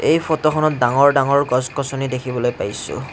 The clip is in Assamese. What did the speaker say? এই ফটোখনত ডাঙৰ ডাঙৰ গছ গছনি দেখিবলৈ পাইছোঁ।